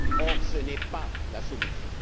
Or, ce n'est pas la solution.